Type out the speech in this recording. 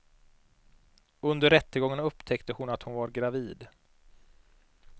Under rättegången upptäckte hon att hon var gravid.